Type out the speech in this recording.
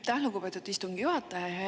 Aitäh, lugupeetud istungi juhataja!